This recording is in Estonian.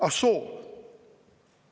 Ah soo!